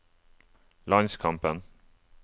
landskampen